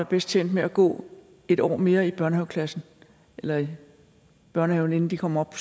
bedst tjent med at gå et år mere i børnehaveklassen eller i børnehaven inden de kommer op